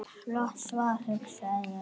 Flott svar, hugsa ég.